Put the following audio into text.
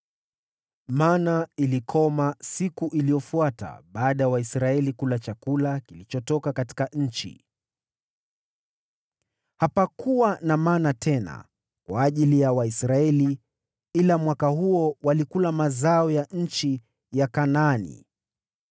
Mana ilikoma siku iliyofuata baada ya Waisraeli kula chakula kilichotoka katika nchi; hapakuwa na mana tena kwa ajili ya Waisraeli, ila mwaka huo walikula mazao ya nchi ya Kanaani.